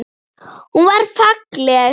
Hún var falleg.